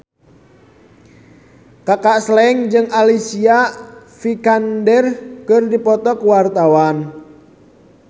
Kaka Slank jeung Alicia Vikander keur dipoto ku wartawan